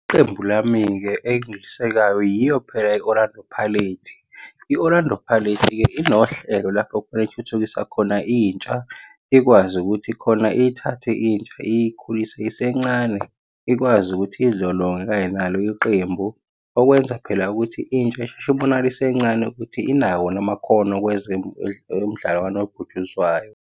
Qembu lami-ke engilisekayo yiyo phela i-Orlando Pirates. I-Orlando Pirates-ke inohlelo lapho khona ethuthukisa khona intsha, ikwazi ukuthi khona ithathe intsha, iyikhulise isencane, ikwazi ukuthi iy'lolonge kanye nalo iqembu. Okwenza phela ukuthi intsha isheshe ibonakale isencane ukuthi inawo yini namakhono umdlalo kanobhutshuzwayo.